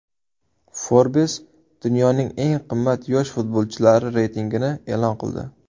Forbes dunyoning eng qimmat yosh futbolchilari reytingini e’lon qildi !